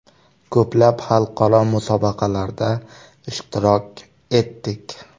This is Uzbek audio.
Ko‘plab xalqaro musobaqalarda ishtirok etdik.